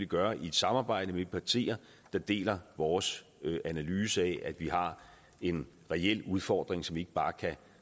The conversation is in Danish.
gøre i et samarbejde med de partier der deler vores analyse af at vi har en reel udfordring som vi ikke bare kan